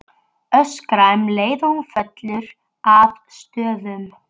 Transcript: Öskra um leið og hún fellur að stöfum.